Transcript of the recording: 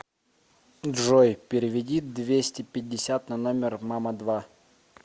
джой переведи двести пятьдесят на номер мама два